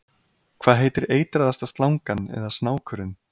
Hvað heitir eitraðasta slangan eða snákurinn?